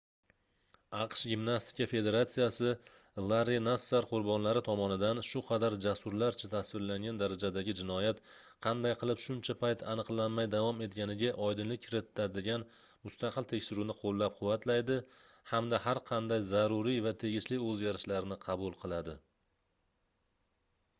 aqsh gimnastika federatsiyasi larri nassar qurbonlari tomonidan shu qadar jasurlarcha tasvirlangan darajadagi jinoyat qanday qilib shuncha payt aniqlanmay davom etganiga oydinlik kiritadigan mustaqil tekshiruvni qoʻllab-quvvatlaydi hamda har qanday zaruriy va tegishli oʻzgarishlarni qabul qiladi